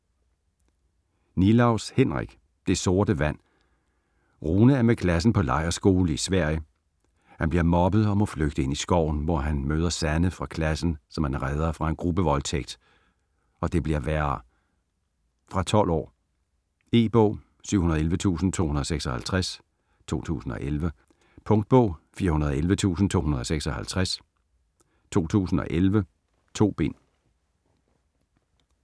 Nilaus, Henrik: Det sorte vand Rune er med klassen på lejrskole i Sverige. Han bliver mobbet og må flygte ind i skoven, hvor han møder Sanne fra klassen, som han redder fra en gruppevoldtægt. Og det bliver værre... Fra 12 år. E-bog 711256 2011. Punktbog 411256 2011. 2 bind.